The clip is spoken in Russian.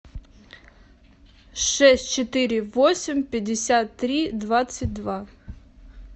шесть четыре восемь пятьдесят три двадцать два